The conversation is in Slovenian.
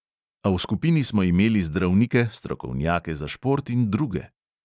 A v skupini smo imeli zdravnike, strokovnjake za šport in druge.